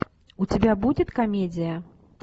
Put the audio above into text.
у тебя будет комедия